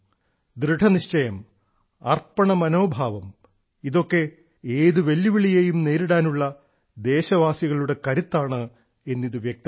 ദൃഢനിശ്ചയം അർപ്പണ മനോഭാവം ഇതൊക്കെ ഏതു വെല്ലുവിളികളെയും നേരിടാനുള്ള ദേശവാസികളുടെ കരുത്താണ് ഇത് എന്ന് വ്യക്തമാക്കുന്നു